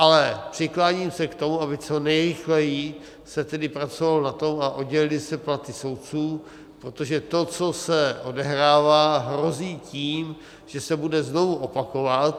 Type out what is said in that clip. Ale přikláním se k tomu, aby co nejrychleji se tedy pracovalo na tom a oddělily se platy soudců, protože to, co se odehrává, hrozí tím, že se bude znovu opakovat.